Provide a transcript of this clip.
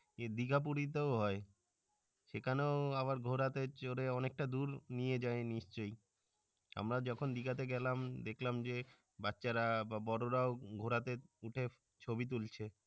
এ দিঘা পুরিতেও হই সেখানেও আবার ঘোড়াতে চড়ে অনেকটা দূর নিয়ে যায় নিশ্চয়। আমরা যখন দিঘাতে গেলাম দেখলাম যে বাচ্চারা বা বড়রাও ঘোড়াতে উঠে ছবি তুলছে।